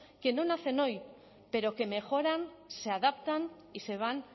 que no nacen hoy pero que mejoran se adaptan y se van